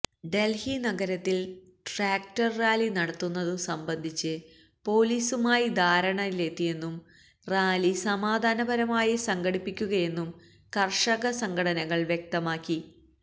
ഡല്ഹി നഗരത്തില് tractor rally നടത്തുന്നതു സംബന്ധിച്ച് പോലീസുമായി ധാരണയിലെത്തിയെന്നും റാലി സമാധാനപരമായാണ് സംഘടിപ്പിക്കുകയെന്നും കര്ഷക സംഘടനകള് വ്യക്തമാക്കി